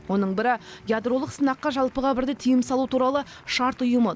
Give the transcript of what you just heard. оның бірі ядролық сынаққа жалпыға бірдей тыйым салу туралы шарт ұйымы